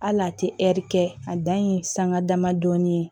Hali a tɛ ɛri kɛ a dan ye sanga damadɔnin ye